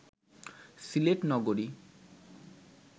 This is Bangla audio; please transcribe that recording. সিলেট নগরী